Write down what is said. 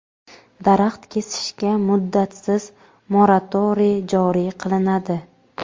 Daraxt kesishga muddatsiz moratoriy joriy qilinadi.